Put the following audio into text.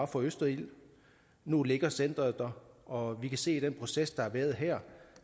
for østerild nu ligger centret der og vi kan se af den proces der har været her